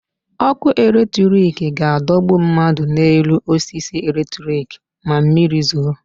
Ọkụ electric ga-adọgbu mmadụ n'elu osisi electric ma mmiri zoo.